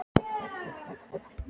Hann þagði um stund uns hann spurði